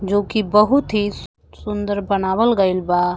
जोकि बहुत ही सुन्दर बनावल गइल बा।